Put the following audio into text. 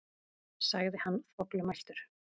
sagði hann þvoglumæltur.